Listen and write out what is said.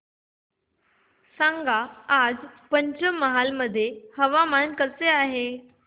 सांगा आज पंचमहाल मध्ये हवामान कसे आहे